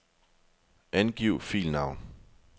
Angiv filnavn.